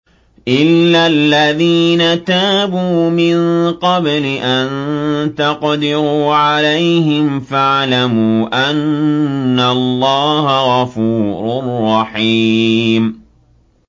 إِلَّا الَّذِينَ تَابُوا مِن قَبْلِ أَن تَقْدِرُوا عَلَيْهِمْ ۖ فَاعْلَمُوا أَنَّ اللَّهَ غَفُورٌ رَّحِيمٌ